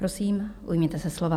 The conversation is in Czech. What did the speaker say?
Prosím, ujměte se slova.